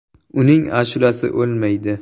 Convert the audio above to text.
Uning ashulasi o‘lmaydi.